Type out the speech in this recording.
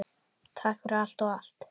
Takk fyrir allt og allt!